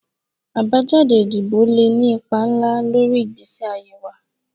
Abajade idibo le ni ipa nla lori igbesi aye wa